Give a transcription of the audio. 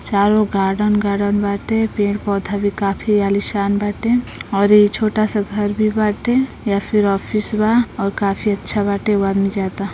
चारों garden garden बाटे। पेड़ पौधा भी काफी आलीशान बाटे। अउरी छोटा सा घर भी बाटे या फिर आफिस बा और काफी अच्छा बाटे। एगो आदमी जाता।